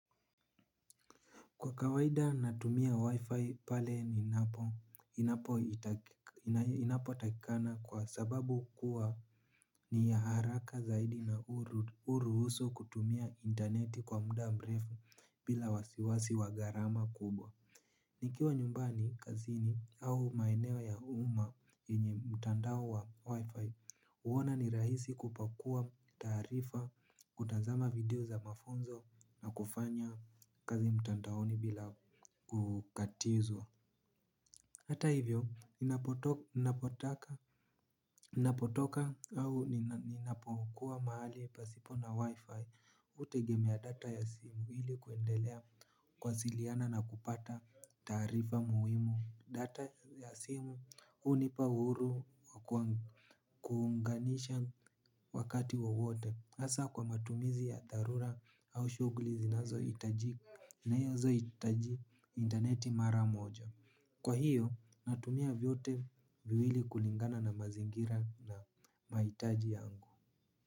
Kwa kawaida natumia wi-fi pale ninapo takikana kwa sababu kuwa ni ya haraka zaidi na hurusu kutumia interneti kwa muda mrefu bila wasiwasi wa gharama kubwa. Nikiwa nyumbani, kazini au maeneo ya umma yenye mtandao wa wi-fi huona ni rahisi kupakua taarifa, kutazama video za mafunzo na kufanya kazi mtandaoni bila kukatizwa. Hata hivyo ninapotoka ninapotoka au ninapokuwa mahali pasipo na wi-fi hutegemea data ya simu ili kuendelea kuwasiliana na kupata taarifa muhimu. Data ya simu hunipa uhuru wa kuunganisha wakati wowote hasa kwa matumizi ya dharura au shughuli zinazohitaji interneti mara moja. Kwa hiyo natumia vyote viwili kulingana na mazingira na mahitaji yangu.